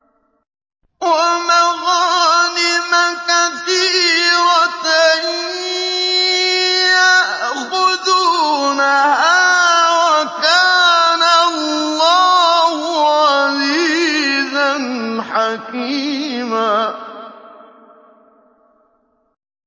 وَمَغَانِمَ كَثِيرَةً يَأْخُذُونَهَا ۗ وَكَانَ اللَّهُ عَزِيزًا حَكِيمًا